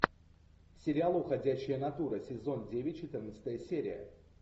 сериал уходящая натура сезон девять четырнадцатая серия